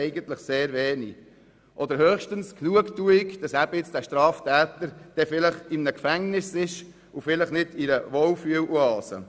Eigentlich besitzen sie sehr wenig Recht, höchstens die Genugtuung, dass der Straftäter vielleicht in einem Gefängnis sitzt und nicht in einer Wohlfühloase.